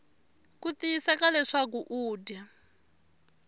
ku tiyiseka leswaku u dya